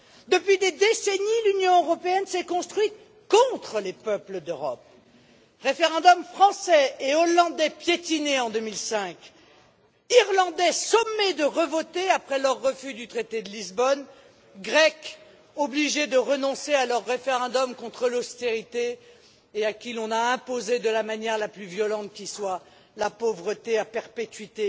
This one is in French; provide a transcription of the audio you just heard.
Depuis des décennies, l'Union européenne s'est construite contre les peuples d'Europe les référendums français et hollandais piétinés en 2005, les Irlandais sommés de revoter après leur refus du traité de Lisbonne, les Grecs obligés de renoncer à leur référendum contre l'austérité et à qui l'on a imposé de la manière la plus violente qui soit la pauvreté à perpétuité.